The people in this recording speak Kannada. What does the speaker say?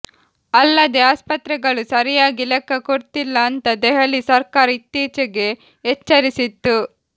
ಅಲ್ಲದೇ ಆಸ್ಪತ್ರೆಗಳು ಸರಿಯಾಗಿ ಲೆಕ್ಕ ಕೊಡ್ತಿಲ್ಲ ಅಂಥ ದೆಹಲಿ ಸರ್ಕಾರ ಇತ್ತೀಚೆಗೆ ಎಚ್ಚರಿಸಿತ್ತು